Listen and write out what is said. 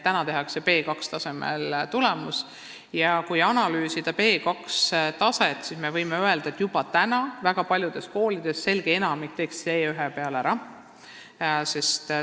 Täna on tulemused üldiselt B2-tasemel ja kui seda taset analüüsida, siis võib öelda, et juba täna teeks selge enamik väga paljudes koolides eksami ära C1-tasemel.